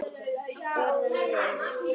Orðanna vegna.